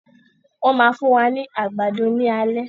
Wọn máa fún wa ní àgbàdo ni alẹ́